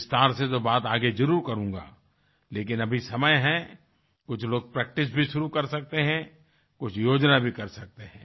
विस्तार से तो बात आगे जरुर करूँगा लेकिन अभी समय है कुछ लोग प्रैक्टिस भी शुरू कर सकते है कुछ योजना भी कर सकते हैं